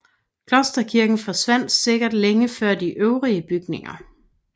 Klosterkirken forsvandt sikkert længe før de øvrige bygninger